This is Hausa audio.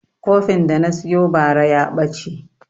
Kofin da na siyo bara ya ɓace